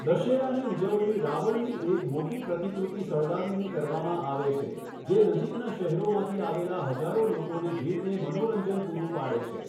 દશેરાની ઉજવણી રાવણની એક મોટી પ્રતિકૃતિ સળગાવીને કરવામાં આવે છે, જે નજીકના શહેરોમાંથી આવેલ હજારો લોકોની ભીડને મનોરંજન પૂરું પાડે છે.